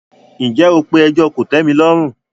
ǹjẹ́ o pe “ẹjọ́ kòtẹ́milọ́rùn ”.?